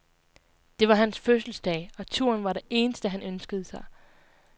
Det var hans fødselsdag, og turen var det eneste, han ønskede sig.